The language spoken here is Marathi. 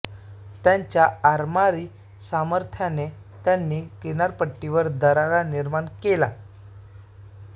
त्यांच्या आरमारी सामर्थ्याने त्यांनी किनारपट्टीवर दरारा निर्माण केला